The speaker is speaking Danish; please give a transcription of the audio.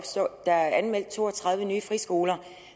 der er anmeldt to og tredive nye friskoler